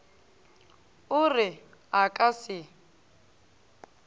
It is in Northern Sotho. o re a ka se